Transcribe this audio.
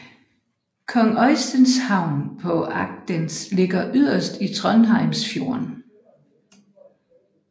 Kong Øysteins havn på Agdenes ligger yderst i Trondheimsfjorden